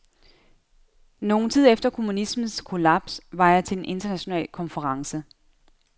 Nogen tid efter kommunismens kollaps var jeg til en international konference.